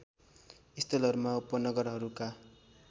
स्थलहरूमा उपनगरहरूका